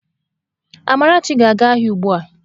Amarachi ga-aga ahia ugbua!